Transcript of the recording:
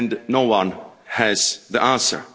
No one has the answer.